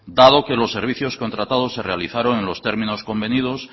dado que los servicios contratados se realizaron en los términos convenidos